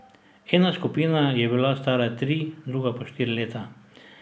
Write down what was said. Ena skupina je bila stara tri, druga pa štiri leta.